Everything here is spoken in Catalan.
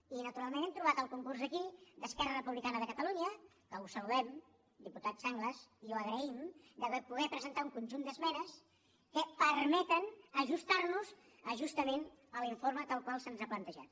i naturalment hem trobat el concurs aquí d’esquerra republicana de catalunya de catalunya que ho saludem diputat sanglas i ho agraïm de poder presentar un conjunt d’esmenes que permeten ajustarnos a justament l’informe tal com se’ns ha plantejat